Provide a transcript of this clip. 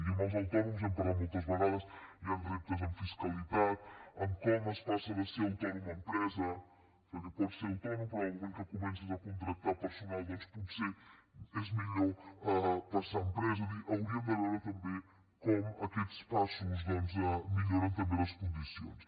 i amb els autònoms n’hem parlat moltes vegades hi han reptes en fiscalitat en com es passa de ser autònom a empresa perquè pots ser autònom però en el moment que comences a contractar personal doncs potser és millor passar a empresa és a dir hauríem de veure també com aquests passos milloren també les condicions